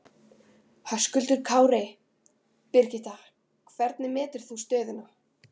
Höskuldur Kári: Birgitta, hvernig metur þú stöðuna?